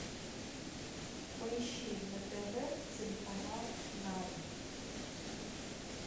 поищи на тв телеканал нано